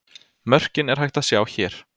Mörkin er hægt að sjá hér.